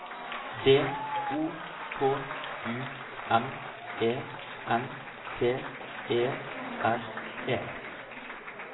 D O K U M E N T E R E